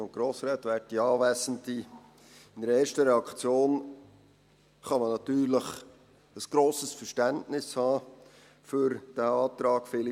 In einer ersten Reaktion kann man natürlich ein grosses Verständnis für diesen Antrag haben.